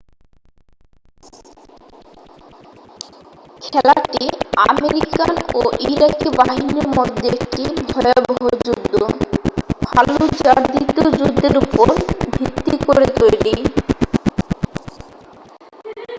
খেলাটি আমেরিকান ও ইরাকি বাহিনীর মধ্যে একটি ভয়াবহ যুদ্ধ ফাল্লুজার দ্বিতীয় যুদ্ধের উপর ভিত্তি করে তৈরি